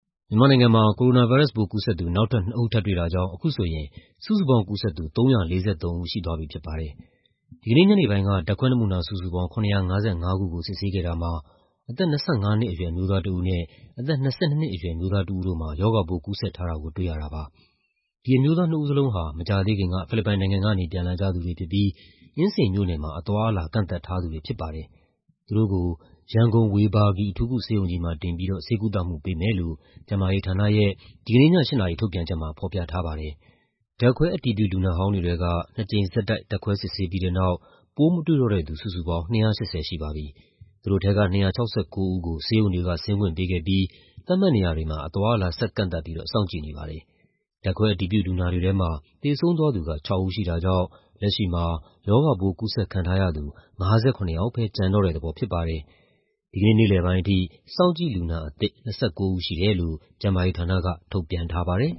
မြန်မာနိုင်ငံမှာ ကိုရိုနာဗိုင်းရပ်စ်ပိုး ကူးစက်သူ နောက်ထပ် နှစ်ဦး ထပ်တွေ့တာကြောင့် အခုဆိုရင် စုစုပေါင်း ကူးစက်သူ ၃၄၃ ဦး ရှိသွားပြီဖြစ်ပါတယ်။ ဒီကနေ့ညနေပိုင်းက ဓာတ်ခွဲနမူနာစုစုပေါင်း ၇၅၅ ခုကို စစ်ဆေးခဲ့တာမှာ အသက် ၂၅ နှစ်အရွယ်၊ အမျိုးသားတဦးနဲ့ အသက် ၂၂ အရွယ် အမျိုးသားတဦးတို့မှာ ရောဂါပိုးကူးစက်ထားတာကို တွေ့ရတာပါ။ ဒီအမျိုးသားနှစ်ဦးလုံးဟာ မကြာသေးခင်က ဖိလစ်ပိုင်နိုင်ငံကနေ ပြန်လာကြသူတွေဖြစ်ပြီး အင်းစိန်မြို့နယ်မှာ အသွားအလာ ကန့်သတ်ထားသူတွေဖြစ်ပါတယ်။ သူတို့ကို ရန်ကုန်၊ ဝေဘာဂီအထူးကုဆေးရုံကြီးမှာ တင်ပြီးတော့ ဆေးကုသမှုပေးမယ်လို့ ကျန်းမာရေးဌာနရဲ့ ဒီကနေ့ည ၈ နာရီ ထုတ်ပြန်ချက်မှာ ဖော်ပြထားပါတယ်။ ဓာတ်ခွဲ အတည်ပြုလူနာဟောင်းတွေထဲက ၂ ကြိမ်ဆက်တိုက် ဓာတ်ခွဲစစ်ဆေးပြီးတဲ့နောက် ပိုးမတွေ့တော့တဲ့သူ စုစုပေါင်း ၂၈၀ ရှိပါပြီ။ သူတို့ထဲက ၂၆၉ ဦးကို ဆေးရုံတွေက ဆင်းခွင့်ပေးခဲ့ပြီး သတ်မှတ်နေရာတွေမှာ အသွားအလာဆက်ကန့်သတ်ပြီးတော့ စောင့်ကြည့်နေပါတယ်။ ဓာတ်ခွဲအတည်ပြုလူနာတွေထဲမှာ သေဆုံးသွားသူက ခြောက် ဦးရှိတာကြောင့် လက်ရှိမှာ ရောဂါပိုးကူးစက် ခံထားရသူ ၅၇ ယောက်ပဲ ကျန်တော့တဲ့သဘောဖြစ်ပါတယ်။ ဒီကနေ့ နေ့လယ်ပိုင်းအထိ စောင့်ကြည့်လူနာအသစ် ၂၉ ဦးရှိတယ်လို့ ကျန်းမာရေးဌာနက ထုတ်ပြန်ထားပါတယ်